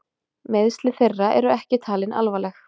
Meiðsli þeirra eru ekki talin alvarleg